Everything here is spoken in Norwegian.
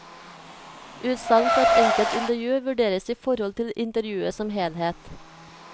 Utsagn fra et enkelt intervju vurderes i forhold til intervjuet som helhet.